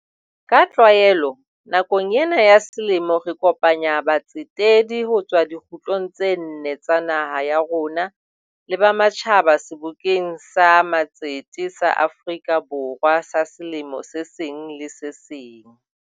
Ka tlwaelo, nakong ena ya selemo re kopanya batsetedi ho tswa dikgutlong tse nne tsa naha ya rona le ba ma tjhaba Sebokeng sa Matsete sa Afrika Borwa sa selemo se seng le se seng.